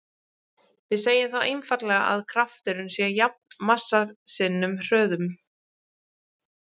Við segjum þá einfaldlega að krafturinn sé jafn massa sinnum hröðun.